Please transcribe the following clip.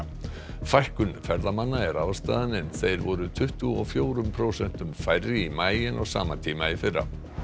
fækkun ferðamanna er ástæðan en þeir voru tuttugu og fjórum prósentum færri í maí en á sama tíma í fyrra